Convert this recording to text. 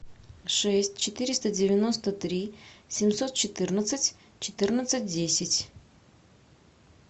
шесть четыреста девяносто три семьсот четырнадцать четырнадцать десять